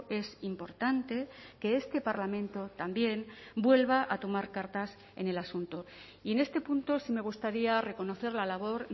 es importante que este parlamento también vuelva a tomar cartas en el asunto y en este punto sí me gustaría reconocer la labor